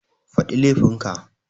Faɗi laifin ka